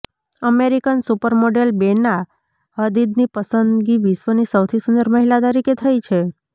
American super model Bella Hadid ની પસંદગી વિશ્વની સૌથી સુંદર મહિલા તરીકે થઈ છે